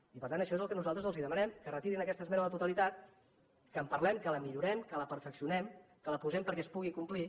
i per tant això és el que nosaltres els demanem que retirin aquesta esmena a la totalitat que en parlem que la millorem que la perfeccionem que la posem perquè es pugui complir